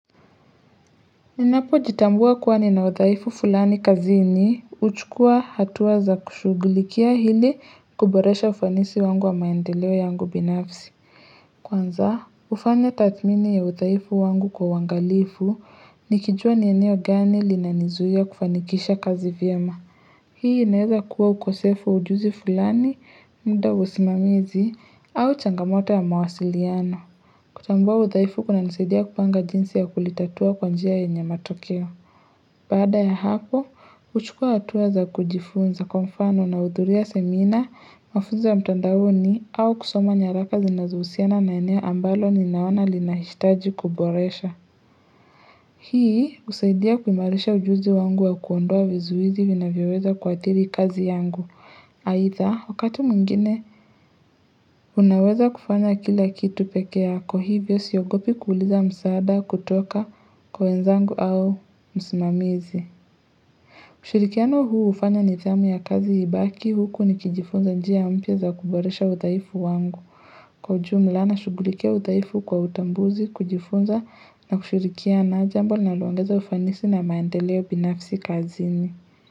Ninapojitambua kuwa nina udhaifu fulani kazini juchukua hatua za kushughulikia ili kuboresha ufanisi wangu wa maendeleo yangu binafsi Kwanza hufanya tathmini ya udhaifu wangu kwa uangalifu nikijua ni eneo gani linanizuia kufanikisha kazi vyema Hii inaeza kuwa ukosefu wa ujuzi fulani muda wa usimamizi au changamoto ya mawasiliano kutambua udhaifu kunanisaidia kupanga jinsi ya kulitatua kwa njia yenye matokeo. Baada ya hapo, huchukua hatua za kujifunza kwa mfano nahudhuria semina, mafunzo ya mtandaoni au kusoma nyaraka zinazohusiana na eneo ambalo ninaona linaishitaji kuboresha. Hii, husaidia kuimarisha ujuzi wangu wa kuondoa vizuizi vinavyoweza kuathiri kazi yangu. Aidha wakati mwingine unaweza kufanya kila kitu peke yako hivyo siogopi kuuliza msaada kutoka kwa wenzangu au msimamizi ushirikiano huu hufanya nidhamu ya kazi ibaki huku nikijifunza njia mpya za kuboresha udhaifu wangu Kwa ujumla nashughulikia udhaifu kwa utambuzi kujifunza na kushirikiana jambo nalinaloongeza ufanisi na maendeleo binafsi kazini.